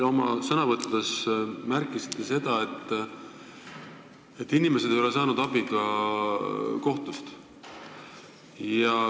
Te oma sõnavõttudes märkisite, et inimesed ei ole saanud abi ka kohtust.